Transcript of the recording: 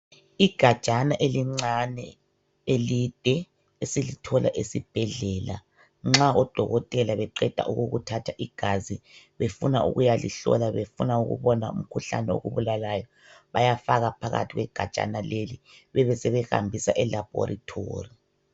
Igajana elincane elide esilithola esibhedlela, nxa odokotela beqeda ukukuthatha igazi befuna ukuyalihlola befuna ukubona umkhuhlane okubulalayo bayafaka phakathi kwegajana leli bebesebehambisa e laboratory